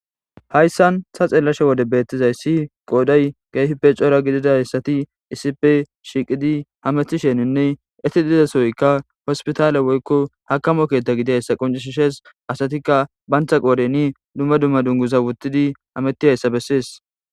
Hayssan ta xeellashe wode beettizay si qooday geyfipe coora gididayssati isipe shiiqidi ha methisheninne etti diizasoykka hospitaale woykko hakamo keethta gideyssa qoncishshees asatikka bantha qoodeni dumma dumma dunguza wottidi hameti hayssa bessees